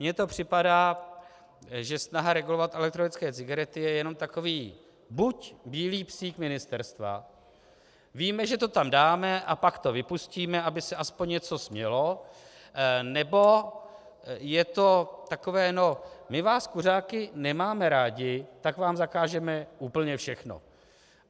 Mně to připadá, že snaha regulovat elektronické cigarety je jenom takový buď bílý psík ministerstva - víme, že to tam dáme, a pak to vypustíme, aby se aspoň něco smělo -, nebo je to takové: no my vás kuřáky nemáme rádi, tak vám zakážeme úplně všechno.